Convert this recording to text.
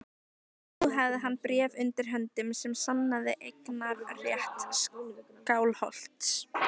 Nú hafði hann bréf undir höndum sem sannaði eignarrétt Skálholts.